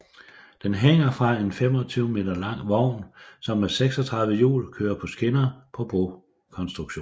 Den hænger fra en 25 m lang vogn som med 36 hjul kører på skinner på brokonstruktionen